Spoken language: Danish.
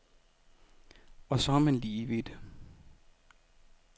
Og så er man lige vidt.